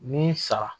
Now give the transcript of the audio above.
Ni sa